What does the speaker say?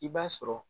I b'a sɔrɔ